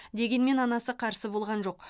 дегенмен анасы қарсы болған жоқ